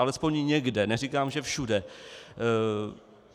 Alespoň někde, neříkám, že všude.